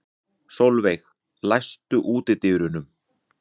Solveig, læstu útidyrunum.